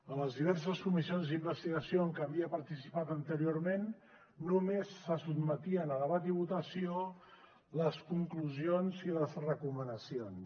en les diverses comissions d’investigació en què havia participat anteriorment només se sotmetien a debat i votació les conclusions i les recomanacions